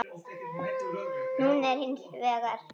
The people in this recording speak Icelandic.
Núna er hins vegar.